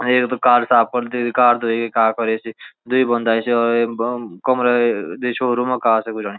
यख त कार साफ करदी धी कार ध्वेय कार फरे सी द्वि बोंदा अयाँ सी और यम बोम कमरा दे शाेरूम कार थे गुजारी।